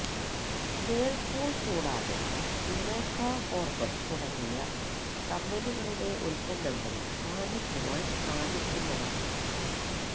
Whirlpool കൂടാതെ Eureka Forbes തുടങ്ങിയ കമ്പനികളുടെ ഉത്പന്നങ്ങളും വാങ്ങിക്കുവാൻ സാധിക്കുന്നതാണ്